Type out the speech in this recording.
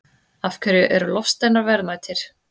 Af hverju eru loftsteinar verðmætir?